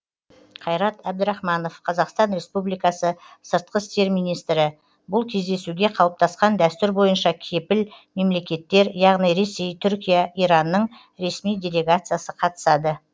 қайрат әбдірахманов қазақстан республикасы сыртқы істер министрі бұл кездесуге қалыптасқан дәстүр бойынша кепіл мемлекеттер яғни ресей түркия иранның ресми делегациясы қатысады